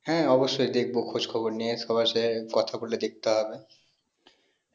হ্যাঁ অবশ্যই দেখবো খোঁজ খবর নিয়ে সবার সাথে কথা বলে দেখতে হবে